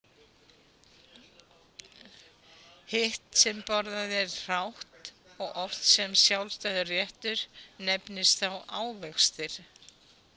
Hitt sem borðað er hrátt og oft sem sjálfstæður réttur nefnist þá ávextir.